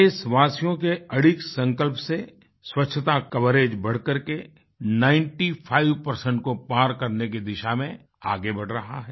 देशवासियों के अडिग संकल्प से स्वच्छता कवरेज बढ़कर के95 को पार करने की दिशा में आगे बढ़ रहा है